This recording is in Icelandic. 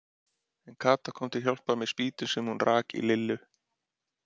En Kata kom til hjálpar með spýtu sem hún rak í Lillu.